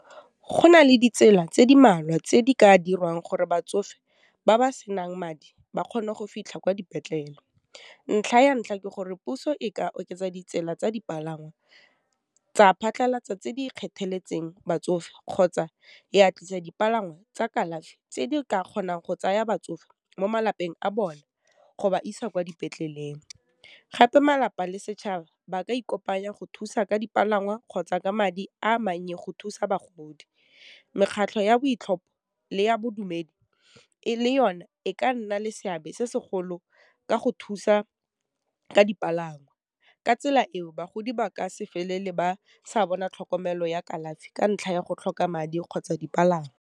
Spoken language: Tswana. Go nale ditsela tse di mmalwa tse di ka dirwang gore batsofe ba ba senang madi ba kgone go fitlha kwa dipetlele, ntlha ya ntlha ke gore, puso e ka oketsa ditsela tsa dipalangwa, tsa phatlhalatsa tse di kgethegeletseng batsofe, kgotsa ya tlisa dipalangwa tsa kalafi tse di ka kgonang go tsaya batsofe mo malapeng a bone go ba isa kwa dipetleleng. Gape malapa le setšhaba ba ka ikopanya go thusa ka dipalangwa, kgotsa ka madi a mannye go thusa bagodi, mekgatlho ya le ya bodumedi le yone e ka nna le seabe se segolo ka go thusa ka dipalangwa, ka tsela eo bagodi ba ka se felele ba sa bona tlhokomelo ya kalafi ka ntlha ya go tlhoka madi kgotsa dipalangwa.